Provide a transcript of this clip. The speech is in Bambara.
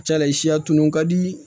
Cala i siya tunun ka di